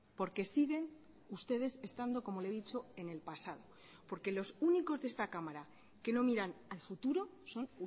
porque siguen ustedes estando como le he dicho en el pasado porque los únicos de esta cámara que no miran al futuro son